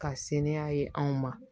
Ka se ni a ye anw ma